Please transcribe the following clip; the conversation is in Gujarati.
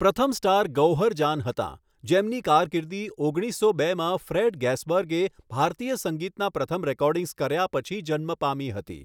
પ્રથમ સ્ટાર ગૌહર જાન હતાં, જેમની કારકિર્દી ઓગણીસો બેમાં ફ્રેડ ગેસબર્ગે ભારતીય સંગીતના પ્રથમ રેકોર્ડિંગ્સ કર્યા પછી જન્મ પામી હતી.